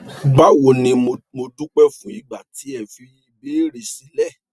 bawo ni mo dúpẹ fún ìgbà tí ẹ fi ìbéèrè sílẹ